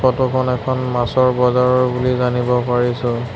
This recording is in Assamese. ফটো খন এখন মাছৰ বজাৰৰ বুলি জানিব পাৰিছোঁ।